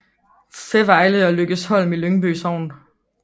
Fævejle og Lykkesholm i Lyngby Sogn